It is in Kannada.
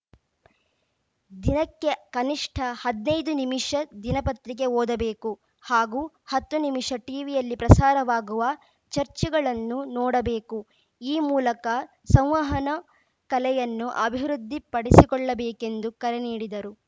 ದಿನಕ್ಕೆ ಕನಿಷ್ಠ ಹದ್ನಾಯ್ದು ನಿಮಿಷ ದಿನಪತ್ರಿಕೆ ಓದಬೇಕು ಹಾಗೂ ಹತ್ತು ನಿಮಿಷ ಟಿವಿಯಲ್ಲಿ ಪ್ರಸಾರವಾಗುವ ಚರ್ಚೆಗಳನ್ನು ನೋಡಬೇಕು ಈ ಮೂಲಕ ಸಂವಹನ ಕಲೆಯನ್ನು ಅಭಿವೃದ್ಧಿ ಪಡಿಸಿಕೊಳ್ಳಬೇಕೆಂದು ಕರೆ ನೀಡಿದರು